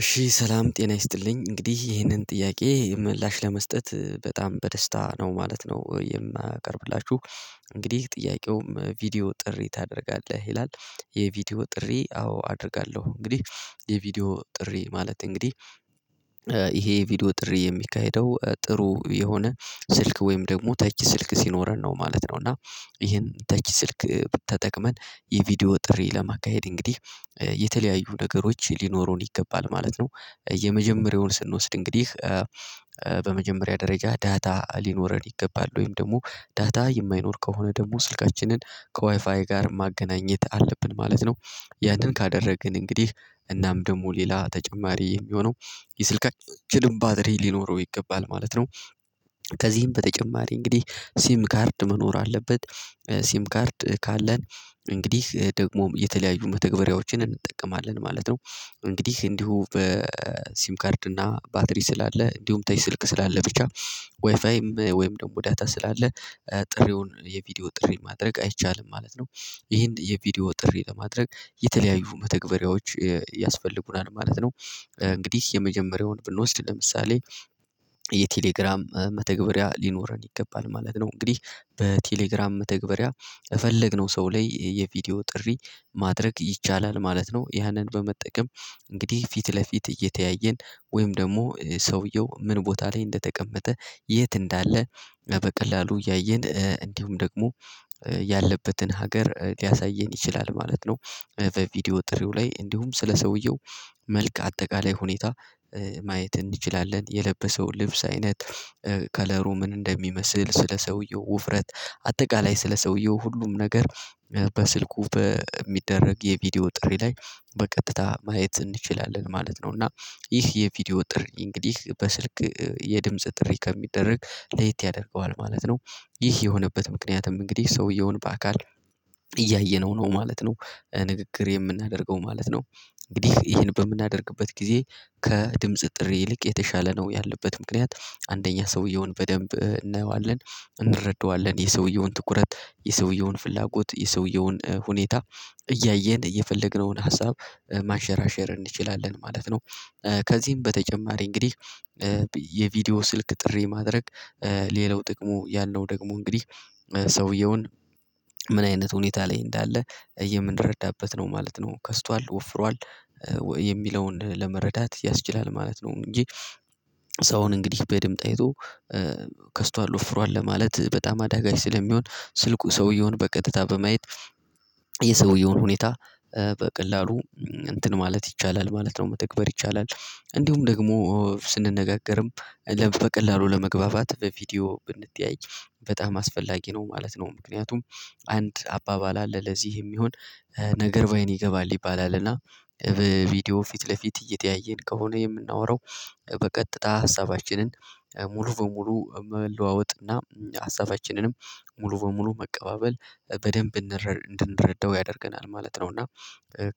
እሺ ሰላም ጤና ይስጥልኝ እንግዲህ ይሄንን ጥያቄ ምላሽ ለመስጠት በጣም በደስታ ነው ማለት ነው የማቀርብላችሁ። እንግዲህ ጥያቄውም ቪዲዮ ጥሪ ታደርጋለህ ይላል? የቪዲዮ ጥሪ አዎ አደርጋለሁ። እንግዲህ የቪዲዮ ጥሪ ማለት እንግዲህ። ይሄ ቪዲዮ ጥሪ የሚካሄደው ጥሩ የሆነ ስልክ ወይም ደግሞ ተች ስልክ ሲኖረን ነው ማለት ነው። እና ይሄን ተች ስልክ ተጠቅመን የቪዲዮ ጥሪ ለማካሄድ እንግዲህ የተለያዩ ነገሮች ሊኖሩን ይገባል ማለት ነው። የመጀመሪያውን ስንወስድ እንግዲህ በመጀመሪያ ደረጃ ዳታ ሊኖረን ይገባል ወይም ደግሞ ዳታ የማይኖር ከሆነ ደግሞ ስልካችንን ከዋይፋይ ጋር ማገናኘት አለብን ማለት ነው። ያንን ካደረግን እንግዲህ እናም ደግሞ ሌላ ተጨማሪ የሚሆነው የስልክአችንም ባትሪ ሊኖረው ይገባል ማለት ነው። ከዚህም በተጨማሪ እንግዲህ ሲም ካርድ መኖር አለበት። ሲም ካርድ ካለን እንግዲህ ደግሞ የተለያዩ መተግበራያዎችን እንጠቀማለን ማለት ነው። እንግዲህ እንዲሁ በሲም ካርድ እና ባትሪ ስላለ እንዲሁም ተች ስልክ ስላለ ብቻ። ዋይፋይም ወይም ደግሞ ዳታ ስላለ ጥሪውን የቪዲዮ ጥሪ ማድረግ አይቻልም ማለት ነው። ይሄን የቪዲዮ ጥሪ ለማድረግ የተለያዩ መተግበሪያዎች ያስፈልጉናል ማለት ነው። እንግዲህ የመጀመሪያውን ብንወስድ ለምሳሌ የቴሌግራም መተግበሪያ ሊኖረን ይገባል ማለት ነው። እንግዲህ በቴሌግራም መተግበሪያ ፈለግነው ሰው ላይ የቪዲዮ ጥሪ ማድረግ ይቻላል ማለት ነው። ያንን በመጠቀም እንግዲህ ፊት ለፊት እየተያየን ወይም ደግሞ ሰውየው ምን ቦታ ላይ እንደተቀመጠ የት እንዳለ በቀላሉ ያየን እንዲሁም ደግሞ ያለበትን ሀገር ሊያሳየን ይችላል ማለት ነው። በቪዲዮ ጥሬው ላይ እንዲሁም ስለ ሰውየው መልካ አጠቃላይ ሁኔታ ማየት እንችላለን የለበሰው ልብስ አይነት ከለሩ ምን እንደሚመስል ስለ ሰውየው ውፍረት አጠቃላይ ስለ ሰውየው ሁሉም ነገር በስልኩ በሚደረግ የቪዲዮ ጥሪ ላይ በቀጥታ ማየት እንችላለን ማለት ነው። እና ይህ የቪዲዮ ጥሪ እንግዲህ በስልክ የድምጽ ጥሪ ከሚደረግ ለየት ያደርገዋል ማለት ነው። ይህ የሆነበት ምክንያትም እንግዲህ ሰውየውን በአካል እያየነው ነው ማለት ነው። ንግግር የምናደርገው ማለት ነው እንግዲህ ይሄን በምናደርግበት ጊዜ ከድምጽ ጥሪ ይልቅ የተሻለ ነው ያለበት ምክንያት አንደኛ ሰውየውን በደንብ እናየዋለን እንረዳዋለን የሰውየውን ትኩረት የሰውየውን ፍላጎት የሰውየውን ሁኔታ እያየን የፈለግነውን ሀሳብ ማሸራሸር እንችላለን ማለት ነው። ከዚህም በተጨማሪ እንግዲህ የቪዲዮ ስልክ ጥሪ ማድረግ ሌላው ጥቅሙ ያለው ደግሞ እንግዲህ ሰውየውን ምን አይነት ሁኔታ ላይ እንዳለ እየምንረዳበት ነው ማለት ነው ከስቷል ወፍሯል የሚለውን ለመረዳት ያስችላል ማለት ነው። እንጂ ሰውን እንግዲህ በድምጽ አይቶ ከስቷል ወፍሯል ለማለት በጣም አዳጋች ስለሚሆን ስልኩ ሰውየውን በቀጥታ በማየት የሰውየውን ሁኔታ በቀላሉ እንትን ማለት ይቻላል ማለት ነው። መተግበር ይቻላል እንዲሁም ደግሞ ስንነጋገርም በቀላሉ ለመግባባት በቪዲዮ ብንተያይ በጣም አስፈላጊ ነው ማለት ነው። ምክንያቱም አንድ አባባል አለ ለዚህ የሚሆን ነገር በአይን ይገባል ይባላልና በቪዲዮ ፊት ለፊት እየተያየን ከሆነ የምናወራው በቀጥታ ሀሳባችንን ሙሉ በሙሉ መለዋወጥና ሀሳባችንንም ሙሉ በሙሉ መቀባበል በደንብ እንድንረዳው ያደርገናል ማለት ነው። እና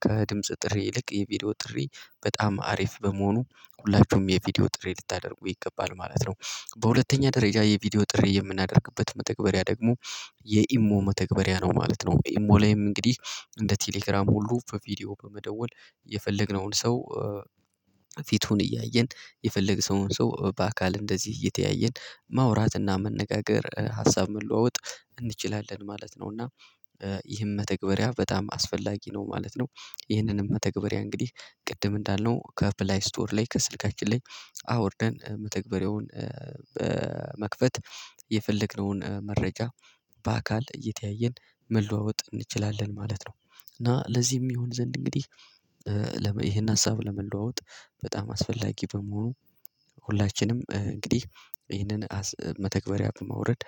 ከድምጽ ጥሪ ይልቅ የቪዲዮ ጥሪ በጣም አሪፍ በመሆኑ ሁላችሁም የቪዲዮ ጥሪ ልታደርጉ ይገባል ማለት ነው። በሁለተኛ ደረጃ የቪዲዮ ጥሪ የምናደርግበት መተግበሪያ ደግሞ የኢሞ መተግበሪያ ነው ማለት ነው። ኢሞ ላይም እንግዲህ እንደ ቴሌግራም ሁሉ በቪዲዮ በመደወል የፈለግነውን ሰው ፊቱን እያየን የፈለግነውን ሰው በአካል እንደዚህ እየተያየን ማውራትና መነጋገር ሀሳብ መለዋወጥ እንችላለን ማለት ነው። እና ይህም መተግበሪያ በጣም አስፈላጊ ነው ማለት ነው። ይህንንም መተግበሪያ እንግዲህ ቅድም እንዳልነው ከፕላይ ስቶር ላይ ከስልካችን ላይ አውርደን መተግበሪያውን መክፈት የፈለግነውን መረጃ በአካል እየተያየን መለዋወጥ እንችላለን ማለት ነው። እና ለዚህም ይሆን ዘንድ እንግዲህ ይሄን ሀሳብ ለመለዋወጥ በጣም አስፈላጊ በመሆኑ ሁላችንም እንግዲህ ይህንን መተግበሪያ በማውረድ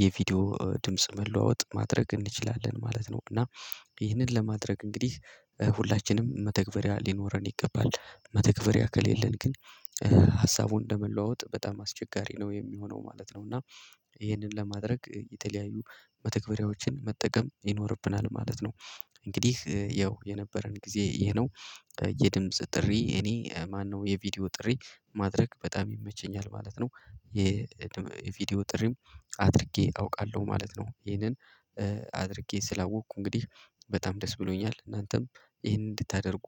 የቪዲዮ ድምጽ መለዋወጥ ማድረግ እንችላለን ማለት ነው። እና ይህንን ለማድረግ እንግዲህ ሁላችንም መተግበሪያ ሊኖረን ይገባል መተግበሪያ ከሌለን ግን ሀሳቡን ለመለዋወጥ በጣም አስቸጋሪ ነው የሚሆነው ማለት ነው። እና ይህንን ለማድረግ የተለያዩ መተግበሪያዎችን መጠቀም ይኖርብናል ማለት ነው። እንግዲህ ያው የነበረን ጊዜ ይሄ ነው የድምጽ ጥሪ እኔ ማነው የቪዲዮ ጥሪ ማድረግ በጣም ይመቸኛል ማለት ነው። የቪዲዮ ጥሪም አድርጌ አውቃለሁ ማለት ነው። ይሄንን አድርጌ ስላወቅኩ እንግዲህ በጣም ደስ ብሎኛል። እናንተም ይሄንን እንድታደርጉ